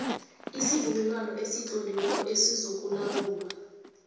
isivumelwano esitloliweko esizokulawula